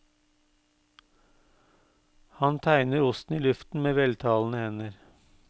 Han tegner osten i luften med veltalende hender.